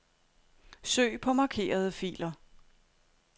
Søg på markerede filer.